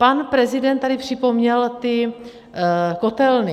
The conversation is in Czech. Pan prezident tady připomněl ty kotelny.